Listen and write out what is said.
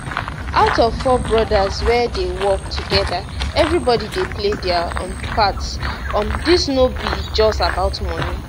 out of four brothers wey dey work togeda everybody dey play dia um part um dis no be just about money